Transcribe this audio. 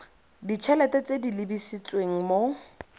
ditshelete tse di lebisitseng mo